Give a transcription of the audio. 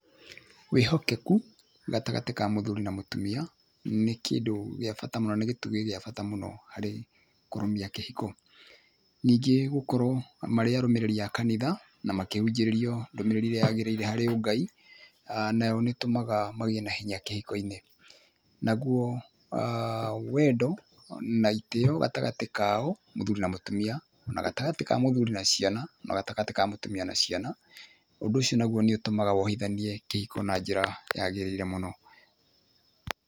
Wĩhokeku gatagatĩ ka mũthuri na mũtumia nĩ kũndũ gĩa bata mũno na nĩ gĩtugĩ gĩa bata mũno harĩ kũrũmia kĩhiko. Ningĩ gũkorwo marĩ arũmĩrĩri a kanitha, na makĩhunjĩrio ndũmĩrĩri ĩrĩa yagĩrĩire harĩ Ũngai, nayo nĩĩtũmaga magĩe na hinya kĩhiko-inĩ. Naguo wendo na itĩo gatagatĩ kao, mũthuri na mũtumia, na gatagatĩ ka mũthuri na ciana, na gatagatĩ ka mũtumia na ciana, ũndũ ũcio naguo nĩũtũmaga wohithanie kĩhiko na njĩra yagĩrĩire mũno.